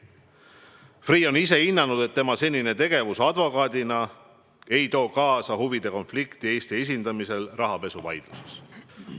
Freeh on ise hinnanud, et tema senine tegevus advokaadina ei too kaasa huvide konflikti Eesti esindamisel rahapesuvaidluses.